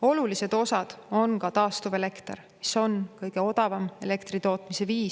Olulised osad on ka taastuvelekter, mis on kõige odavam elektri tootmise viis.